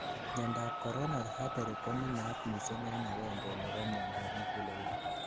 miandap coronary artery ko nenaat missing en agengei nebo miandap muguleldo